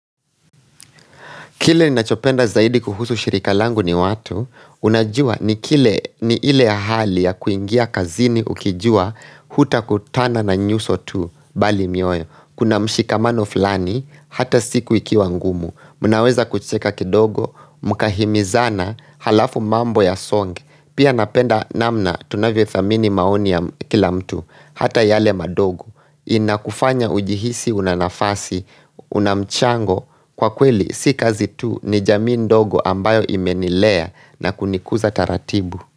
Kile ni nachopenda zaidi kuhusu shirika langu ni watu, unajua ni kile ni ile hali ya kuingia kazini ukijua huta kutana na nyuso tu bali miyoyo. Kuna mshikamano fulani, hata siku ikiwa ngumu, munaweza kucheka kidogo, mkahimizana, halafu mambo ya songe, pia napenda namna tunavyo thamini maoni ya kila mtu, hata yale madogo. Inakufanya ujihisi unanafasi, unamchango kwa kweli si kazi tu ni jamii ndogo ambayo imenilea na kunikuza taratibu.